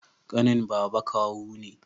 ƙanin baba kawu ne